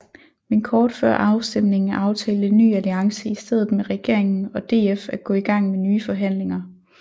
Men kort før afstemningen aftalte Ny Alliance i stedet med regeringen og DF at gå i gang med nye forhandlinger